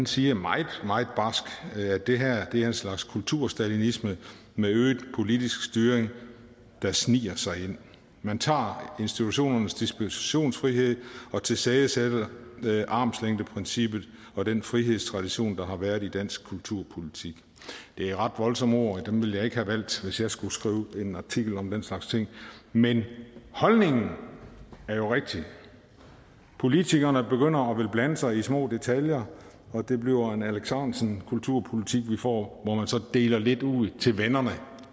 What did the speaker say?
siger meget meget barsk at det her en slags kulturstalinisme med øget politisk styring der sniger sig ind man tager institutionernes dispositionsfrihed og tilsidesætter armslængdeprincippet og den frihedstradition der har været i dansk kulturpolitik det er ret voldsomme ord og dem ville jeg ikke have valgt hvis jeg skulle skrive en artikel om den slags ting men holdningen er jo rigtig politikerne begynder at ville blande sig i små detaljer og det bliver en alex ahrendtsen kulturpolitik vi får hvor man så deler lidt ud til vennerne